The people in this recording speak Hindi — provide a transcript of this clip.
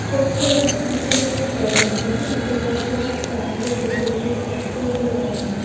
चर्च के अंदर ग्रीन कलर के कर्टेन्स हैं ऊपर बहुत सारे स्टार और डेकोरेटेड आर्टिकल्स लागाए गए हैं।